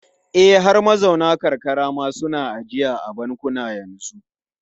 E, har mazauna karkara ma suna ajiya a bankuna yanzu.